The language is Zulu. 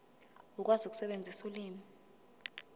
ukwazi ukusebenzisa ulimi